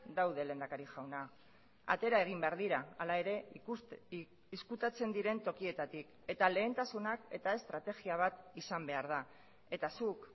daude lehendakari jauna atera egin behar dira hala ere ezkutatzen diren tokietatik eta lehentasunak eta estrategia bat izan behar da eta zuk